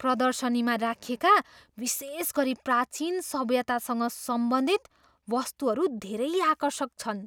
प्रदर्शनीमा राखिएका, विशेषगरी प्राचिन सभ्यतासँग सम्बन्धित, वस्तुहरू धेरै आकर्षक छन्।